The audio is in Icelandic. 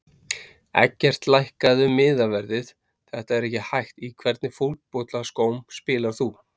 Eggert lækkaðu miðaverðið þetta er ekki hægt Í hvernig fótboltaskóm spilar þú?